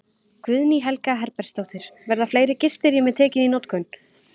Guðný Helga Herbertsdóttir: Verða fleiri gistirými tekin í notkun?